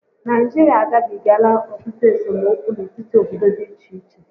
Nigeria agabigala otutu esomokwu n'etiti obodo dị iche iche